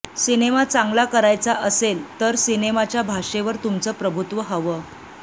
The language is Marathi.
सिनेमा चांगला करायचा असेल तर सिनेमाच्या भाषेवर तुमचं प्रभुत्व हवं